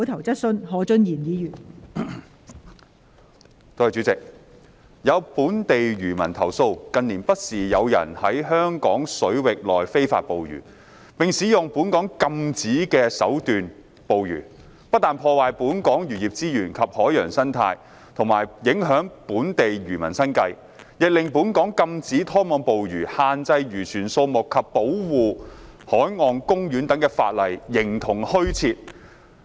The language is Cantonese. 代理主席，有本地漁民投訴，近年不時有人在香港水域內非法捕魚，並使用本港禁止的手段捕魚，不但破壞本港漁業資源及海洋生態和影響本地漁民生計，亦令本港禁止拖網捕魚、限制漁船數目及保護海岸公園等法例形同虛設。